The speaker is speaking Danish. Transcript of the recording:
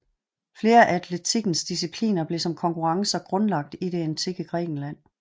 Flere af atletikkens discipliner blev som konkurrencer grundlagt i det antikke Grækenland